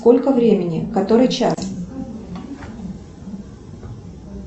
сколько времени который час